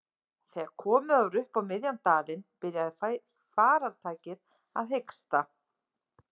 Þegar komið var upp á miðjan dalinn byrjaði farartækið að hiksta.